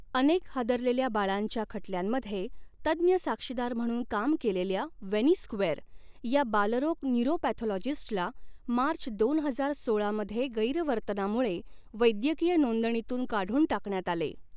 अनेक हादरलेल्या बाळांच्या खटल्यांमध्ये तज्ञ साक्षीदार म्हणून काम केलेल्या वेनी स्क्वेअर या बालरोग न्यूरोपॅथॉलॉजिस्टला मार्च दोन हजार सोळा मध्ये गैरवर्तनामुळे वैद्यकीय नोंदणीतून काढून टाकण्यात आले.